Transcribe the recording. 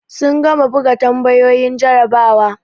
Sun gama buga tambayoyin jarabawa.